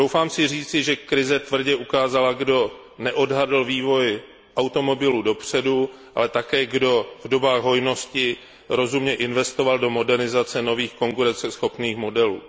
Troufám si říci, že krize tvrdě ukázala, kdo neodhadl vývoj automobilů dopředu, ale také kdo v dobách hojnosti rozumně investoval do modernizace nových konkurenceschopných modelů.